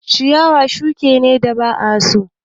Ciyawa shuki ne da ba a so